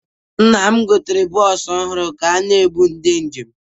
Nna m gotere bọọsụ ọhụrụ ga na-ebu ndị njem.